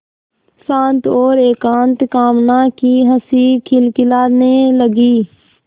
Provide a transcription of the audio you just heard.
शांत और एकांत कामना की हँसी खिलखिलाने लगी